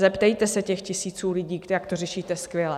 Zeptejte se těch tisíců lidí, jak to řešíte skvěle.